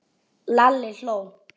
Lalli hló.